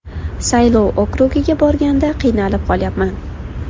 Saylov okrugiga borganda qiynalib qolyapman.